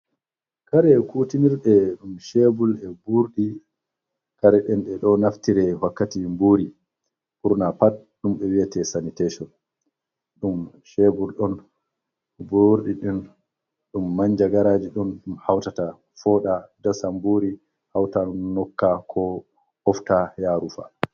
Kare kutinirɗe ɗum chebul e ɓurɗi, kare ɗen ɗe ɗo naftire wakkati buri, ɓurna pat ɗum ɓe wi'ate sanitetion, ɗum chebul, ɗon ɓurɗi ɗin, ɗum manja garaji ɗum, ɗum hautata foɗa dasa mburi hautan nokka, ko ɓofta ya rufa.